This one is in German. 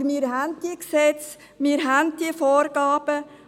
Aber wir haben diese Gesetze, wir haben diese Vorgaben.